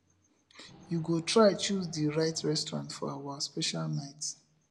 you go try choose di right restaurant for our special night